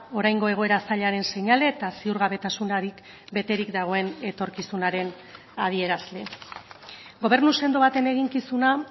oraingo egoera zailaren seinale eta ziurgabetasunarik beterik dagoen etorkizunaren adierazle gobernu sendo baten eginkizuna